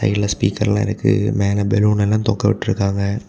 கீழ ஸ்பீக்கர்லா இருக்கு மேல பலூன்ல தொங்கவிட்ருக்காங்க.